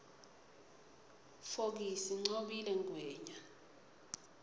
fokisi ncobile ngwenya